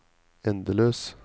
endeløs